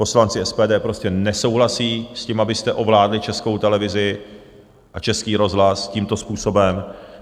Poslanci SPD prostě nesouhlasí s tím, abyste ovládli Českou televizi a Český rozhlas tímto způsobem.